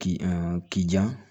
K'i k'i jan